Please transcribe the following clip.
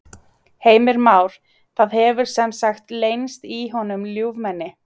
Heimir Már: Það hefur sem sagt leynst í honum ljúfmenni?